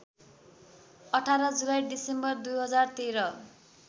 १८ जुलाई डिसेम्बर २०१३